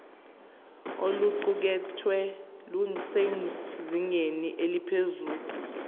oluqukethwe lusezingeni eliphezulu